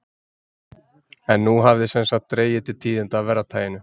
En nú hafði sem sagt dregið til tíðinda af verra taginu.